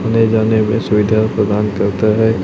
आने जाने में सुविधा प्रदान करता है।